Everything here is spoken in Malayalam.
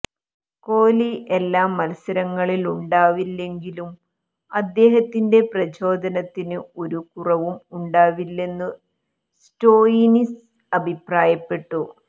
കോലി എല്ലാ മല്സരങ്ങളിലുമുണ്ടാവില്ലെങ്കിലും അദ്ദേഹത്തിന്റെ പ്രചോദനത്തിന് ഒരു കുറവും ഉണ്ടാവില്ലെന്നു സ്റ്റോയ്നിസ് അഭിപ്രായപ്പെട്ടു